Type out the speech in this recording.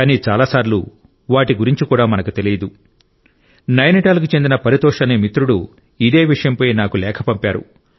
కానీ చాలా సార్లు వాటి గురించి కూడా మనకు తెలియదు నైనిటాల్కు చెందిన పరితోష్ అనే మిత్రుడు ఇదే విషయంపై నాకు లేఖ పంపారు